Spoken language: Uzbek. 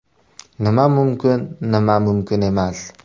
Nima mumkin, nima mumkin emas.